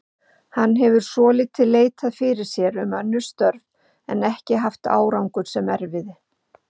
Hann hefur svolítið leitað fyrir sér um önnur störf en ekki haft árangur sem erfiði.